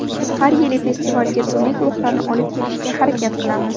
Har yili festivalga turli guruhlarni olib kelishga harakat qilamiz.